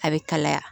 A bɛ kalaya